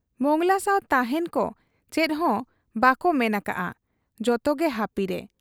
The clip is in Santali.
ᱢᱚᱸᱜᱽᱞᱟ ᱥᱟᱶ ᱛᱟᱦᱮᱸᱱ ᱠᱚ ᱪᱮᱫᱦᱚᱸ ᱵᱟᱠᱚ ᱢᱮᱱ ᱟᱠᱟᱜ ᱟ ᱾ ᱡᱚᱛᱚᱜᱮ ᱦᱟᱹᱯᱤᱨᱮ ᱾